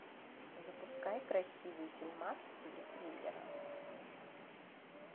запускай красивый фильмас в стиле триллера